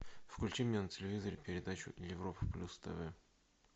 включи мне на телевизоре передачу европа плюс тв